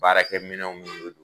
Baarakɛ minɛnw bɛ